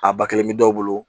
A ba kelen bi dɔw bolo